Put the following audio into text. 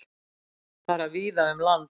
Fara víða um land